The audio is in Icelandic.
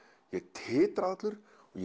titraði allur og